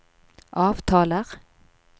avtaler